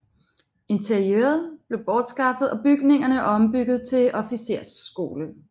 Interiøret blev bortskaffet og bygningerne ombygget til officersskole